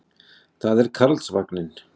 Það er Karlsvagninn.